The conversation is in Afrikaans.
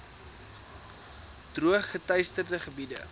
droog geteisterde gebiede